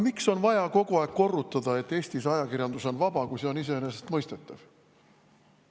Miks on vaja kogu aeg korrutada, et Eesti ajakirjandus on vaba, kui see on iseenesestmõistetav?